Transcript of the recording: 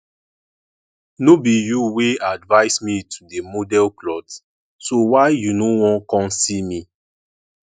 no be you wey advice me to dey model cloth so why you no wan come see me